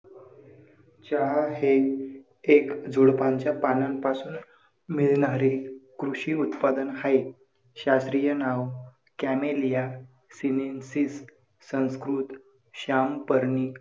चहा हे एक झुडपांच्या पानांपासून मिळणारे कृषी उत्पादन हाय. शास्त्रीय नाव कॅमेलिया सिनेन्सिस संस्कृत- श्यामपर्णी.